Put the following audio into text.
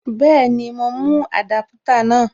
Bẹ́ẹ̀ni, mo mú Adaputa náà.